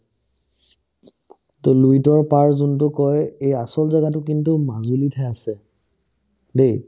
to লুইতৰ পাৰ যোনটো কই এই আচল জাগাতো কিন্তু মাজুলিতহে আছে দেই